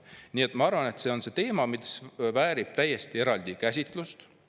Nii et ma arvan, et see on teema, mis väärib eraldi käsitlust.